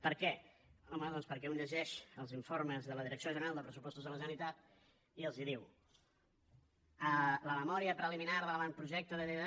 per què home doncs perquè un llegeix els informes de la direcció general de pressupostos de la generalitat i els diu la memòria preliminar de l’avantprojecte de llei de